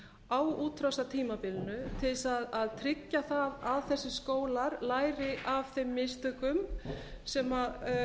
á útrásartímabilinu til að tryggja það að þessir skólar læri af þeim mistökum sem